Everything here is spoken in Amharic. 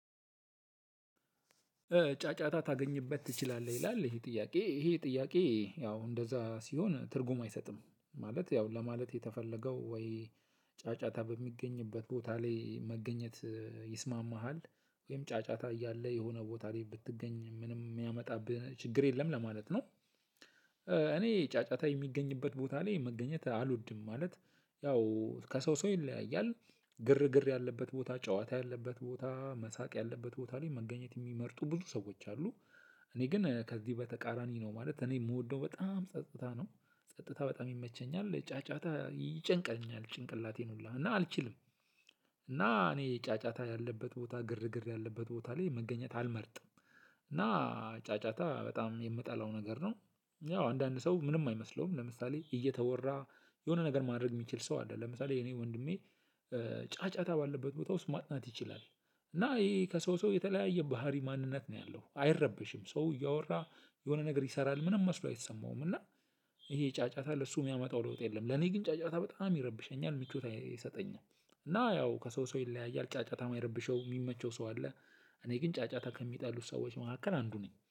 "ጫጫታ ታገኝበት ትችላለህ" ይላል ይሄ ጥያቄ፣ ይሄ ጥያቄ እንደዛ ሲሆን ትርጉም አይሰጥም። ማለት ያው ለማለት የተፈለገው ጫጫታ በሚገኝበት ቦታ ላይ መገኘት ይስማምሃል ወይም ጫጫታ እያለ የሆነ ቦታ ላይ ብትገኝ ምንም የሚያመጣብህ ችግር የለም ለማለት ነው። እኔ ጫጫታ የሚገኝበት ቦታ ላይ መገኘት አልወድም። ማለት ያው ከሰው ሰው ይለያያል፣ ግርግር ያለበት ቦታ፣ ጨዋታ ያለበት ቦታ፣ መሳቅ ያለበት ቦታ ላይ መገኘት የሚመርጡ ብዙ ሰዎች አሉ። እኔ ግን ከዚህ በተቃራኒ ነው ማለት እኔ የምወደው በጣም ጸጥታ ነው ጸጥታ በጣም ይመቸኛል። ጫጫታ ይጨንቀኛል ጭንቅላቴን ሁላ እና አልችልም። እና እኔ ጫጫታ ያለበት ቦታ ግርግር ያለበት ቦታ ላይ መገኘት አልመርጥም። እና ጫጫታ በጣም የምጠላው ነገር ነው። ያው አንዳንድ ሰው ምንም አይመስለውም ለምሳሌ እየተወራ የሆነ ነገር ማድረግ የሚችል ሰው አለ ለምሳሌ የእኔ ወንድሜ ጫጫታ ባለበት ቦታ ውስጥ ማጥናት ይችላል። እና ይህ ከሰው ሰው የተለያየ ባህሪ ማንነት ነው ያለው አይረበሽም ሰው እያወራ የሆነ ነገር ይሰራል ምንም መስሎ አይሰማውም እና ይሄ ጫጫታ ለሱ የሚያመጣው ለውጥ የለም፤ ለኔ ግን ጫጫታ በጣም ይረብሸኛል ምቾት አይሰጠኝም። እና ያው ከሰው ሰው ይለያያል ጫጫታ የሚረብሸው የሚመቸው ሰው አለ፣ እኔ ግን ጫጫታ ከሚጠሉ ሰዎች መካከል አንዱ ነኝ።